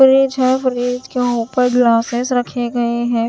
Fridge है fridge के ऊपर ग्लासेस रखे गए हैं।